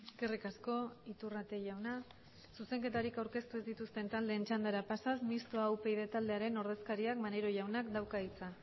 eskerrik asko iturrate jauna zuzenketarik aurkeztu ez dituzten taldeen txandara pasaz mistoa upyd taldearen ordezkariak maneiro jaunak dauka hitza